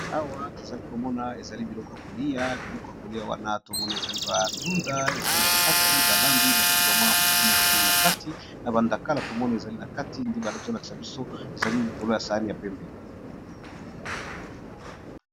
Awa tozali komona ezali biloko ya kolia, biloko ya kolia wana tomone ezali bandunda ezali na kati balambi bati bamwaya mosoni mosoni na kati na bandakala tomone ezali na kati nde bala ezo lakisa biso ezali likolo ya sani ya pembe.